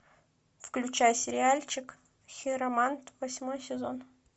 включай сериальчик хиромант восьмой сезон